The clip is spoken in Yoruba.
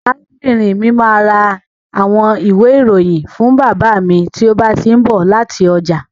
Arábìnrin mi máa ra àwọn ìwé-ìròyìn fún bàbá mi tí ó bá ti ń bọ̀ láti ọjà.